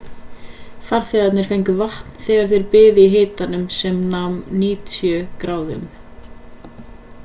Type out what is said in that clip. farþegar fengu vatn þegar þeir biðu í hita sem nam 90 f gráðum